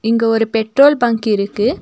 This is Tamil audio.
இங்க ஒரு பெட்ரோல் பங்க் இருக்கு.